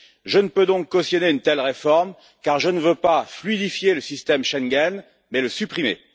Je ne peux donc cautionner une telle réforme, car je ne veux pas fluidifier le système Schengen, mais le supprimer.